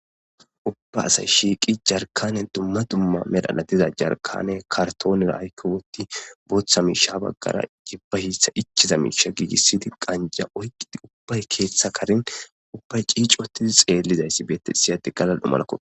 Ubba asay shiiqi jarkanen dumma dumma melhaladiza jarkane kartoonera aykke wootti booththa miisha baggara jibba hiitha ichiza miisha giigissidi qanja oyqqidi ubbay keeththa karin ubbay ciic wotidi xeellizayssi beette siyadi galal dhumalakko.